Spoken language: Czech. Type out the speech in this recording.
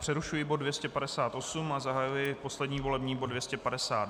Přerušuji bod 258 a zahajuji poslední volební bod.